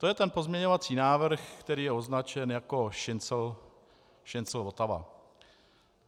To je ten pozměňovací návrh, který je označen jako Šincl-Votava.